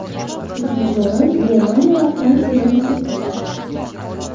Uchinchi o‘rin Germaniya va Fransiyaga nasib qildi.